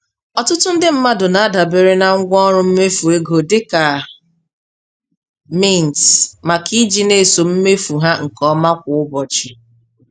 Ọtụtụ ndị mmadụ na-adabere na ngwaọrụ mmefu ego dị ka Mint maka iji na-eso mmefu ha nke ọma kwa ụbọchị.